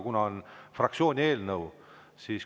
See on fraktsiooni eelnõu.